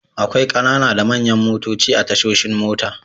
Akwai ƙanana da manyan motoci a tashoshin mota.